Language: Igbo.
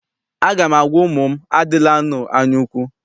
Aga m agwa ụmụ m, adịlanụ anyaukwu!